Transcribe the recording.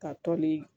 Ka tɔnni